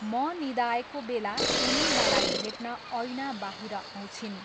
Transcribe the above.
म निदाएको बेला उनी मलाई भेट्न ऐनाबाहिर आउँछिन्।